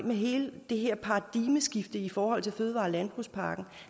med hele det her paradigmeskifte i forhold til fødevare og landbrugspakken